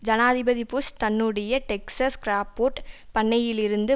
ஜனாதிபதி புஷ் தன்னுடைய Texas Crawford பண்ணையிலிருந்து